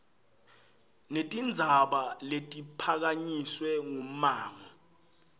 netindzaba letiphakanyiswe ngummango